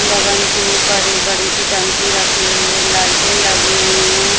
लगन के ऊपर एक बड़ी सी टंकी रखी हुई है लाइटे लगी हुई है।